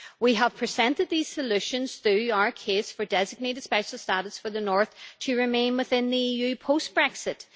We have presented these solutions through our case for designated special status for the north to remain within the EU post Brexit.